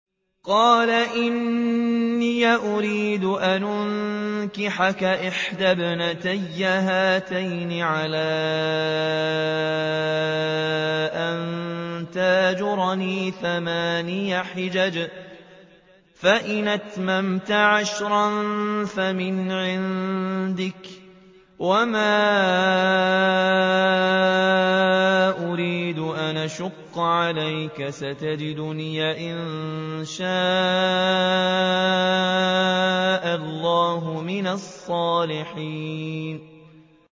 قَالَ إِنِّي أُرِيدُ أَنْ أُنكِحَكَ إِحْدَى ابْنَتَيَّ هَاتَيْنِ عَلَىٰ أَن تَأْجُرَنِي ثَمَانِيَ حِجَجٍ ۖ فَإِنْ أَتْمَمْتَ عَشْرًا فَمِنْ عِندِكَ ۖ وَمَا أُرِيدُ أَنْ أَشُقَّ عَلَيْكَ ۚ سَتَجِدُنِي إِن شَاءَ اللَّهُ مِنَ الصَّالِحِينَ